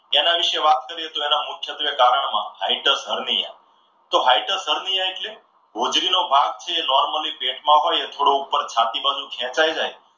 એના વિશે વાત કરીએ તો એના મુખ્યત્વે કારણોમાં હાઇડ્રસ હરનીયા તો હાઇડ્રસ હરનીયા એટલે ભાગ જે છે એ normally પેટમાં હોય થોડું ઉપર છાતી બાજુ ખેંચાઈ જાય ને